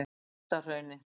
Efstahrauni